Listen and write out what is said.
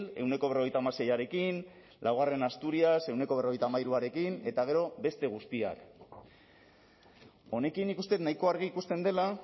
ehuneko berrogeita hamaseiarekin laugarrena asturias ehuneko berrogeita hamairuarekin eta gero beste guztiak honekin nik uste dut nahiko argi ikusten dela